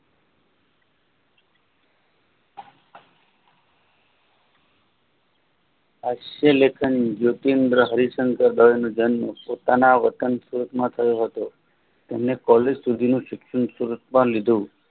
અસવહ લેખન નૂચિન્દ્રહરિચંદ્ર નો જન્મ પોતાના વતન સુરતમાં થયો હતો તેમણૅ college સુધી નુ શિક્ષણ સુરતમાં લીધુ